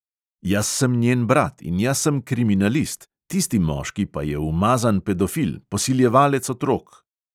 "Jaz sem njen brat in jaz sem kriminalist, tisti moški pa je umazan pedofil, posiljevalec otrok!"